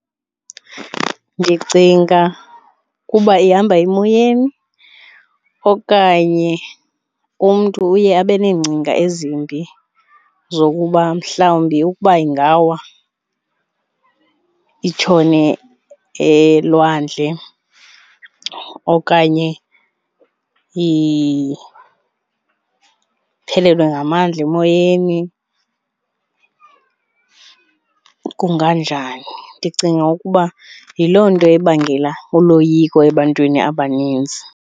Ndicinga ukuba ihamba emoyeni okanye umntu uye abe neengcinga ezimbi zokuba mhlawumbi ukuba ingawa itshone elwandle okanye iphelelwe ngamanzi emoyeni kunganjani. Ndicinga ukuba yiloo nto ebangela uloyiko ebantwini abaninzi.